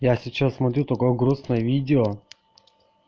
я сейчас смотрю такое грустное видео